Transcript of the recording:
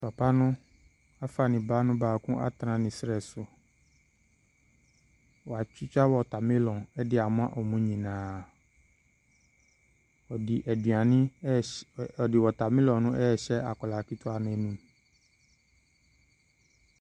Papa no afa ne ba no baako atena ne serɛ so. Watwitwa watermelon de ama wɔn nyinaa. Ɔde aduane rehy ɔde watermelon no rehyɛ akwadaa ketewa no anum.